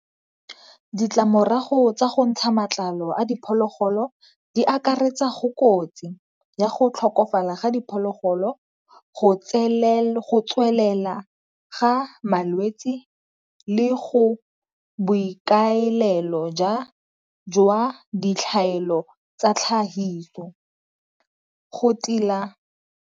Ditlamorago tsa go ntsha matlalo a diphologolo di akaretsa go kotsi ya go tlhokofalela ga diphologolo go tswelela ga malwetsi le go boikaelelo jwa ditlhaelo tsa tlhahiso go tila.